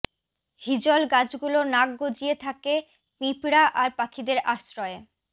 হিজল গাছগুলো নাক গজিয়ে থাকে পিঁপড়া আর পাখিদের আশ্রয়ে